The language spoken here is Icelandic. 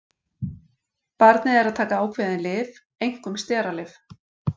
Barnið er að taka ákveðin lyf, einkum steralyf.